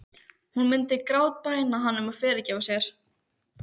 Hún myndi grátbæna hann um að fyrirgefa sér.